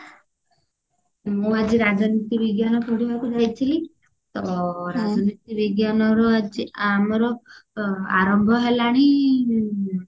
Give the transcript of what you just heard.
ମୁଁ ଆଜି ରାଜନୀତି ବିଜ୍ଞାନ ପଢିବାକୁ ଯାଇଥିଲି ତ ରାଜନୀତି ବିଜ୍ଞାନ ର ଆଜି ଆମର ଆ ଆରମ୍ଭ ହେଲାଣି